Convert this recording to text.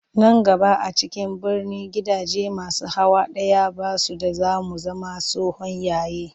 Nan gaba a cikin birni gidaje masu hawa ɗaya ba su da za mu zama tsohon yayi